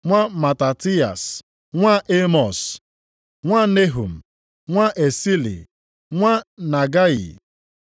nwa Matatiyas, nwa Emọs, nwa Nehum, nwa Esili, nwa Nagayị;